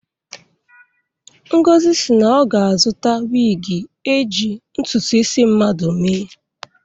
Ngozi si na ọ ga-azụta wigi eje ntụtụ isi mmadụ mee.